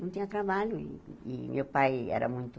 Não tinha trabalho e e meu pai era muito